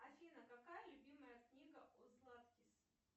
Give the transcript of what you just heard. афина какая любимая книга у златкис